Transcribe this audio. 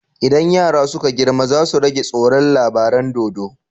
Idan yara suka girma zasu rage tsoron labaran dodo